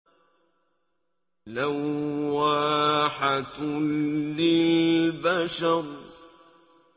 لَوَّاحَةٌ لِّلْبَشَرِ